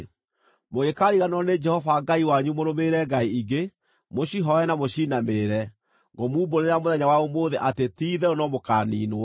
Mũngĩkariganĩrwo nĩ Jehova Ngai wanyu mũrũmĩrĩre ngai ingĩ, mũcihooe na mũciinamĩrĩre, ngũmumbũrĩra mũthenya wa ũmũthĩ atĩ ti-itherũ no mũkaaniinwo.